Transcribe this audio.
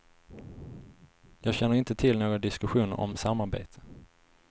Jag känner inte till några diskussioner om samarbete.